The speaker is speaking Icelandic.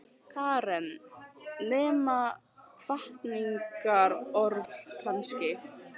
Karen: Nema hvatningarorð kannski?